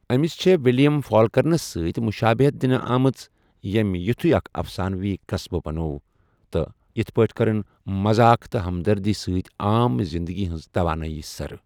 أمِس چھے ولیم فالکنرَس سۭتۍ بمشٲبِہیت دِنہٕ آمٕژ ییٚمہِ یِتھوٗیہ اکھ افسانوی قصبہٕ بنٛوٚو تہٕ اِتھٔیہ پٲٹھۍ کٕرٕن مزاخ تہٕ ہمدردی سۭتہِ عام زِنٛدٕگی ہٕنٛز توانٲئی سرٕ ۔